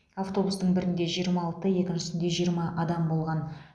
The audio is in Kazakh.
автобустың бірінде жиырма алты екіншісінде жиырма адам болған